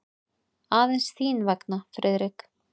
Aðeins þín vegna, Friðrik.